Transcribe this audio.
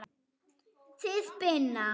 Þið Binna?